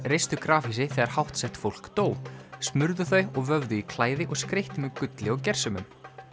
reistu grafhýsi þegar fólk dó smurðu þau og vöfðu í klæði og skreyttu með gulli og gersemum